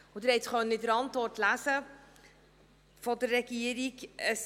Sie konnten es in der Antwort der Regierung lesen: